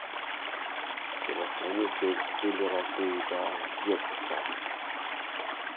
телохранитель киллера дэвида йетса